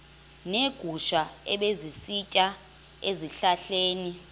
neegusha ebezisitya ezihlahleni